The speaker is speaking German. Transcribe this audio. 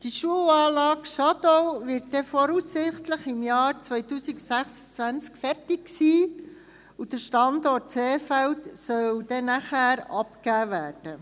Die Schulanlage Schadau wird voraussichtlich im Jahr 2026 fertig sein, und der Standort Seefeld soll dann abgegeben werden.